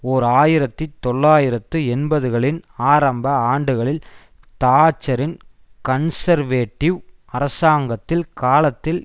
ஓர் ஆயிரத்தி தொள்ளாயிரத்து எண்பதுகளின் ஆரம்ப ஆண்டுகளில் தாட்சரின் கன்சர்வேட்டிவ் அரசாங்கத்தில் காலத்தில்